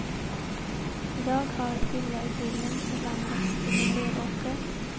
I dag har villaidyllen förvandlats till en leråker.